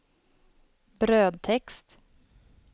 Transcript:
brödtext